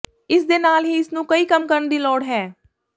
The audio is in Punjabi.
ਇਸ ਦੇ ਨਾਲ ਹੀ ਇਸ ਨੂੰ ਕਈ ਕੰਮ ਕਰਨ ਦੀ ਲੋੜ ਹੈ